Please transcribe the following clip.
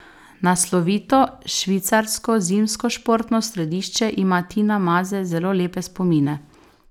Na slovito švicarsko zimskošportno središče ima Tina Maze zelo lepe spomine.